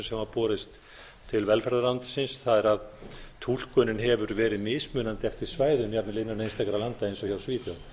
hafa borist til velferðarráðuneytisins það er að túlkunin hefur verið mismunandi eftir svæðum jafnvel innan einstakra landa eins og hjá svíþjóð